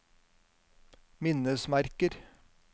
minnesmerker